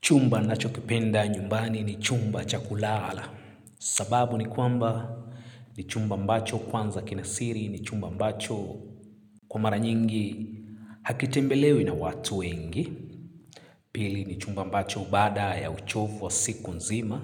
Chumba ninachokipenda nyumbani ni chumba cha kulala. Sababu ni kwamba ni chumba ambacho kwanza kina siri ni chumba ambacho kwa mara nyingi hakitembelewi na watu wengi. Pili, ni chumba ambacho baada ya uchovu wa siku nzima.